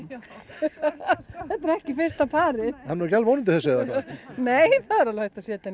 þetta er ekki fyrsta parið hann er ekki alveg ónýtur þessi nei það er alveg hægt að setja hann